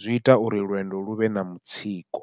zwi ita uri lwendo luvhe na mutsiko.